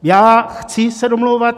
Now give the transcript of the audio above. Já se chci domlouvat.